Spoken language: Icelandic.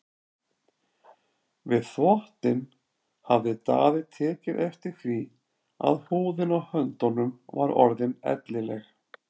Við þvottinn hafði Daði tekið eftir því að húðin á höndunum var orðin ellileg.